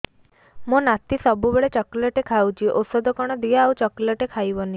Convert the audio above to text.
ମୋ ନାତି ସବୁବେଳେ ଚକଲେଟ ଖାଉଛି ଔଷଧ କଣ ଦିଅ ଆଉ ଚକଲେଟ ଖାଇବନି